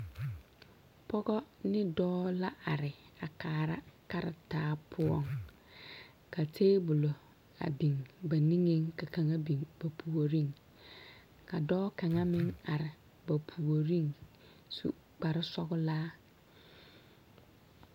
Pɔge ne dɔɔ la are a kaara kartaa poɔŋ ka tabolɔ a biŋ ba niŋeŋ ka kaŋa biŋ ba puoriŋ ka dɔɔ kaŋa meŋ are ba puoriŋ su kparesɔglaa.